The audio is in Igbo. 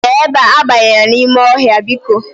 Bia ebe a, abanyela n'ime ohia biko.